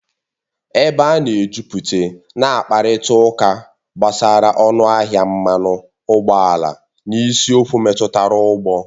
Ebe a na-ejuputa na-akparịta ụka gbasara ọnụ ahịa mmanụ ụgbọala na isiokwu metụtara ụgbọ